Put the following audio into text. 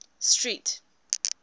street